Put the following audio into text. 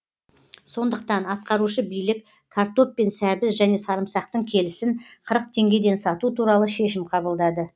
сондықтан атқарушы билік картоп пен сәбіз және сарымсақтың келісін қырық теңгеден сату туралы шешім қабылдады